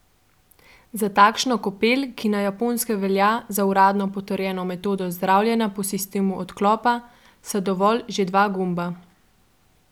Za takšno kopel, ki na Japonskem velja za uradno potrjeno metodo zdravljenja po sistemu odklopa, sta dovolj že dva gumba.